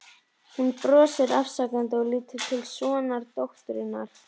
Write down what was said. Hún brosir afsakandi og lítur til sonardótturinnar.